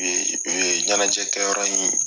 U ye u ye ɲɛnajɛ kɛyɔrɔ in